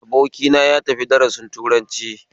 Abokina yatafi darasin turanci